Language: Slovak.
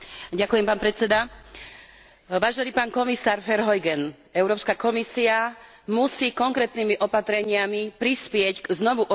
Vážený pán komisár Verheugen, Európska komisia musí konkrétnymi opatreniami prispieť k znovuoživeniu automobilového priemyslu.